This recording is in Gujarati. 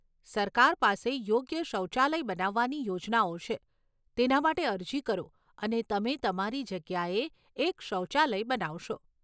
સરકાર પાસે યોગ્ય શૌચાલય બનાવવાની યોજનાઓ છે, તેના માટે અરજી કરો અને તમે તમારી જગ્યાએ એક શૌચાલય બનાવશો.